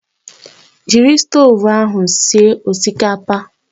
Jiri stovu ahụ sie osikapa!